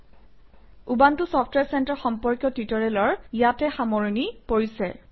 ltPausegt Ubuntu software center সম্পৰ্কীয় টিউটৰিয়েলৰ ইয়াতে সামৰণি পৰিছে